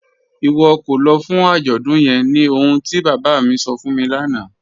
Iwọ kò lọ́ fún ajọ́dún yẹ̀n ní ọ̀hun ti baba mi sọ̀ fún mi lana